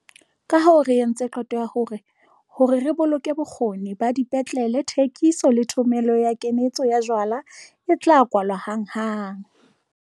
Kahoo re entse qeto ya hore, hore re boloke bokgoni ba dipetlele, thekiso, le thomello le kanetso ya jwala e tla kwalwa hanghang.